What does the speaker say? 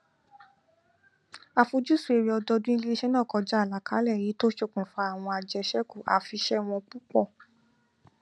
àfojúsùn èrè ọdọọdún iléiṣẹ náà kọjá àlàkalẹ èyí tó ṣokùnfà àwọn àjẹṣẹkù afiṣẹwọn púpọ